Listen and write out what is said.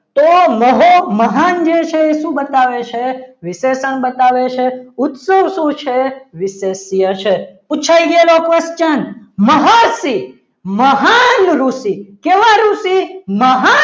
તો માહો મહાન જે છે એ શું બતાવે છે વિશેષણ બતાવે છે ઉત્સવ શું છે વિશેષ્ય છે પૂછાઈ ગયેલો question મહર્ષિ મહાન ઋષિ કેવા ઋષિ મહાન ઋષિ